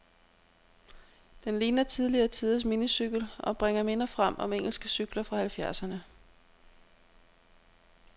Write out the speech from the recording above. Den ligner tidligere tiders minicykel, og bringer minder frem om engelske cykler fra halvfjerdserne.